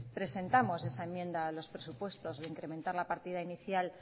presentamos esa enmienda a los presupuestos de incrementar la partida inicial